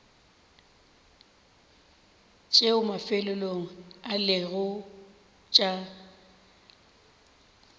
tšeo mafelelong e lego tša